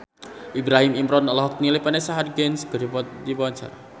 Ibrahim Imran olohok ningali Vanessa Hudgens keur diwawancara